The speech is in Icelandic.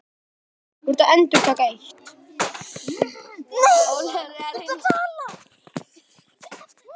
Hann er vinur minn.